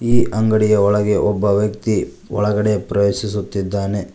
ಈ ಅಂಗಡಿಯ ಒಳಗೆ ಒಬ್ಬ ವ್ಯಕ್ತಿ ಒಳಗಡೆ ಪ್ರವೇಶಿಸುತ್ತಿದ್ದಾನೆ.